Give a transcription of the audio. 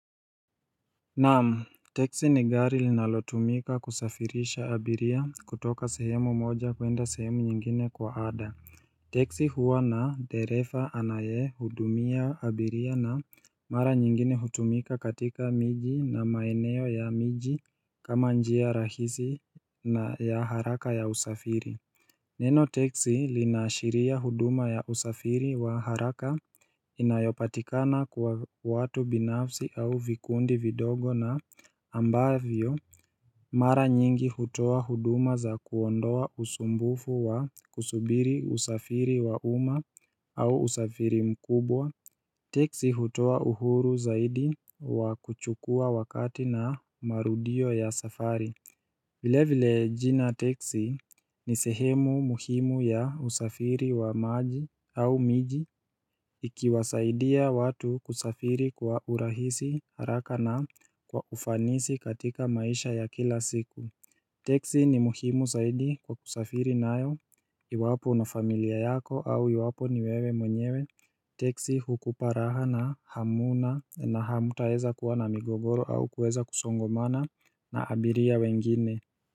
Nam teksi ni gari linalotumika kusafirisha abiria kutoka sehemu moja kuenda sehemu nyingine kwa ada Teksi huwa na dereva anayehudumia abiria na mara nyingine hutumika katika miji na maeneo ya miji kama njia rahisi na ya haraka ya usafiri Neno teksi linaashiria huduma ya usafiri wa haraka inayopatikana kwa watu binafsi au vikundi vidogo na ambavyo Mara nyingi hutoa huduma za kuondoa usumbufu wa kusubiri usafiri wa umma au usafiri mkubwa Teksi hutoa uhuru zaidi wa kuchukua wakati na marudio ya safari vile vile jina teksi ni sehemu muhimu ya usafiri wa maji au miji ikiwasaidia watu kusafiri kwa urahisi haraka na kwa ufanisi katika maisha ya kila siku Teksi ni muhimu zaidi kwa kusafiri nayo iwapo na familia yako au iwapo ni wewe mwenyewe Teksi hukupa raha na hamuna na hamtaeza kuwa na migogoro au kuweza kusongomana na abiria wengine.